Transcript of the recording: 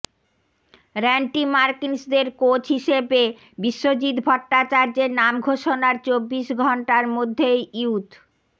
র্যান্টি মার্টিন্সদের কোচ হিসেবে বিশ্বজিৎ ভট্টাচার্যের নাম ঘোষণার চব্বিশ ঘণ্টার মধ্যেই ইউথ